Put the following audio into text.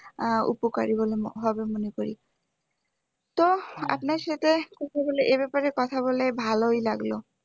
আহ উপকারি হবে মনে করি তো আপনার সাথে কথা বলে এ ব্যাপারে কথা বলে ভালোই লাগলো